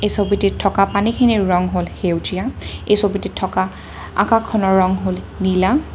এই ছবিটিত থকা পানীখিনৰ ৰং হ'ল সেউজীয়া এই ছবিটিত থকা আকাশখনৰ ৰং হ'ল নীলা।